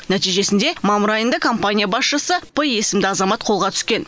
нәтижесінде мамыр айында компания басшысы п есімді азамат қолға түскен